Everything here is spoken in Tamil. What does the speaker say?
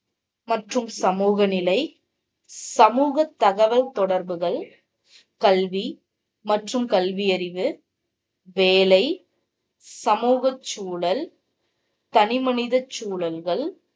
மற்றும் சமூக நிலை, சமூக தகவல் தொடர்புகள், கல்வி மற்றும் கல்வியறிவு, வேலை, சமூகச் சூழல், தனி மனிதச் சூழல்கள்